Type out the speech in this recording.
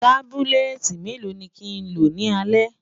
tábìlìléti mélò ní kín ló ní alè?